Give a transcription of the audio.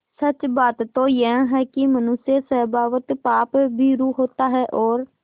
सच बात तो यह है कि मनुष्य स्वभावतः पापभीरु होता है और